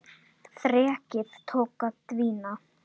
Þrekið tók að dvína.